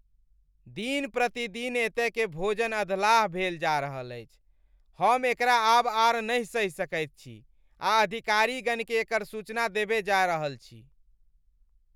दिन प्रतिदिन एतयकेँ भोजन अधलाह भेल जा रहल अछि। हम एकरा आब आर नहि सहि सकैत छी आ अधिकारीगणकेँ एकर सूचना देबय जा रहल छी।